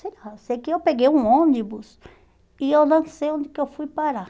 Sei lá, sei que eu peguei um ônibus e eu não sei onde que eu fui parar.